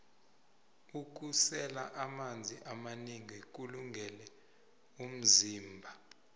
kusela amanzi amanengi kulungele vmzimba